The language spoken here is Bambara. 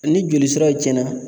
Ni joli siraw cɛnna